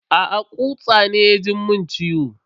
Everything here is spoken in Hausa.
Aa, kutsa ne ya ji mun ciwo.